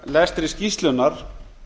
af geti skýrslunnar